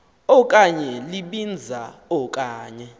okanye libinza okanye